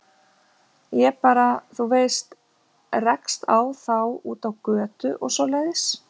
Ég bara, þú veist, rekst á þá úti á götu og svoleiðis.